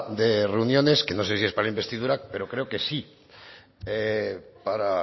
de reuniones que no sé si es para la investidura pero creo que sí para